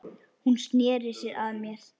Hún sneri sér að mér.